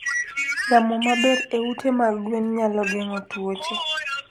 Yamo maber e ute mag gwen nyalo geng'o tuoche.